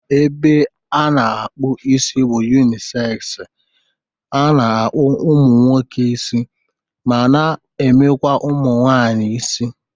Ebea a na-akpụ isi bụ yunisegz, ana akpụ ụmụ nwoke isi ma na-emekwa ụmụ nwaanyị isi